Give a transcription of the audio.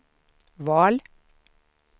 val